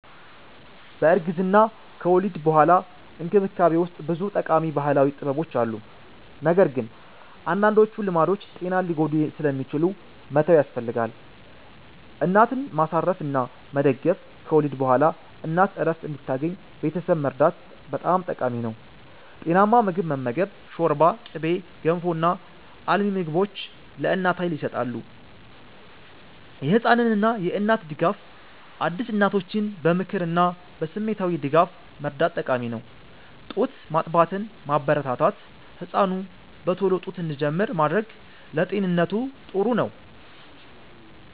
በእርግዝናና ከወሊድ በኋላ እንክብካቤ ውስጥ ብዙ ጠቃሚ ባህላዊ ጥበቦች አሉ፣ ነገር ግን አንዳንዶቹ ልማዶች ጤናን ሊጎዱ ስለሚችሉ መተው ያስፈልጋል። እናትን ማሳረፍ እና መደገፍ – ከወሊድ በኋላ እናት እረፍት እንድታገኝ ቤተሰብ መርዳት በጣም ጠቃሚ ነው። ጤናማ ምግብ መመገብ – ሾርባ፣ ቅቤ፣ ገንፎ እና አልሚ ምግቦች ለእናት ኃይል ይሰጣሉ። የህፃን እና እናት ድጋፍ – አዲስ እናቶችን በምክርና በስሜታዊ ድጋፍ መርዳት ጠቃሚ ነው። ጡት ማጥባትን ማበረታታት – ህፃኑ በቶሎ ጡት እንዲጀምር ማድረግ ለጤንነቱ ጥሩ ነው።